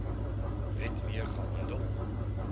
wet mee gehandel